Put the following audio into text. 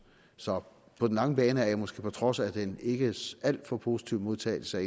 så på den lange bane er jeg måske på trods af den ikke alt for positive modtagelse